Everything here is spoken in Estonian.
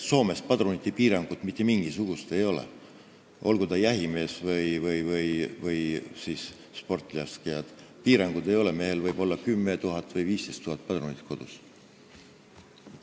Soomes näiteks ei ole mitte mingisugust padrunite piirangut, olgu jahimees või sportlaskja, piiranguid ei ole, mehel võib kodus olla 10 000 või 15 000 padrunit.